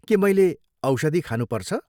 के मैले औषधि खानुपर्छ?